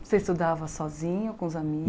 Você estudava sozinho, com os